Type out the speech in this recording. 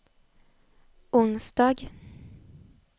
onsdag